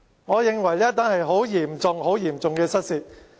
我認為這是一宗很嚴重、很嚴重的失竊案。